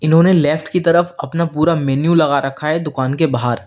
इन्होंने लेफ्ट के तरफ अपना पूरा मेनू लगा रखा है दुकान के बाहर।